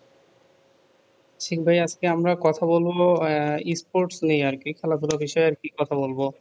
সীম ভাইয়া আমরা কথা বলবো আহ Sports নিয়া আর কি খেলাধুলা বিষয় আর কি কথা বলব